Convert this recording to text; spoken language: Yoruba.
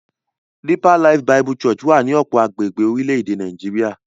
Deeper Life Bible Church wà ní ọ̀pọ̀ agbègbè orílẹ̀-èdè Nàìjíríà.